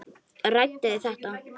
Ræddu þið þetta?